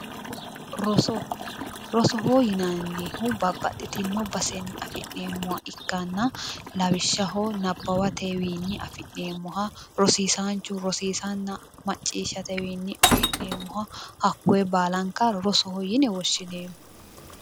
Roso rosoho yinannihu babbaxitinno basenni afi'neemmoha ikkanna lawishshaho naawateni afi'neemmoha rosiisaanchu rosiisanna macciishshatewiinni afi'neemmoha hakkoye baalanka rosoho yine woshshineemmo.